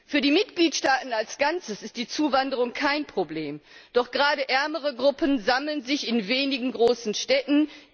Für die Mitgliedstaaten als Ganzes ist die Zuwanderung kein Problem, doch gerade ärmere Gruppen sammeln sich in wenigen großen Städten.